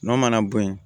N'o mana bo yen